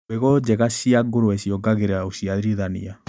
Mbegũ njega cia ngũrũwe ciongagĩrĩra ũciarithania.